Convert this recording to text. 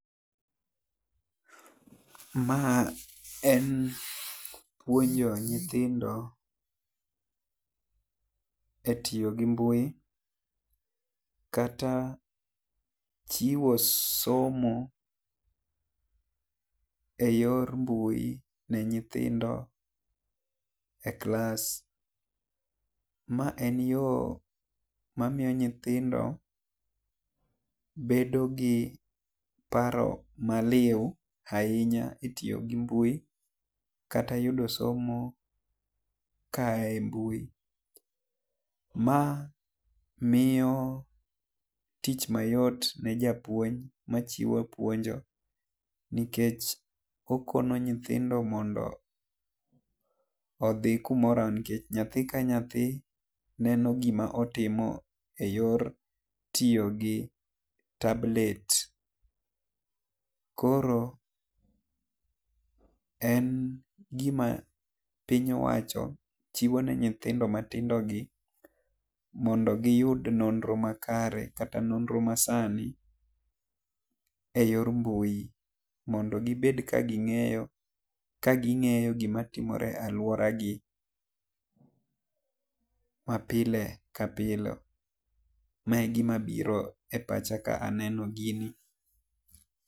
Ma en puonjo nyithindo e tiyo gi mbui kata chiwo somo e yor mbui ne nyithindo e klas ma en yo ma miyo nyithindo bedo gi paro ma liu ainya e tiyo gi mbui kata yudo somo ka aa e mbui. Ma miyo tich ma yot ne japuonj ma chiwo puonjo nikech okonyo nyithindo mondo odhi nyathi ka nyathi neno gi ma otimo e yor tiyo gi tablet koro en gi ma piny owacho chiwo ne nyithindo ma tindo gi mondo gi yud nonro makare kata nonro ma sani e yor mbui mondo gi bed ka gi ng'eyo ka ng'eyo gi ma timore aluora gi ma pile ka pile. Ma e gi ma biro e pacha ka aneno gini.